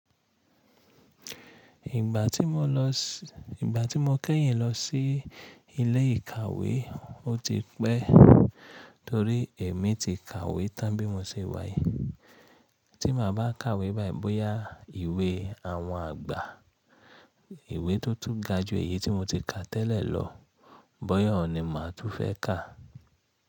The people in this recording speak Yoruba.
Ìgbà tí mo kẹ́yìn lọ sí ilé ìkàwé, ó ti pẹ́ torí èmi ti kàwé tán bí mo ṣe wá yìí. Tí màá bá kàwé báì bóyá iwé àwọn àgbà, ìwé tó tún ga ju èyí tí mo ti kà tẹ́lẹ̀ lọ, bọ́yàn ohun ni màá tún fẹ́ kà.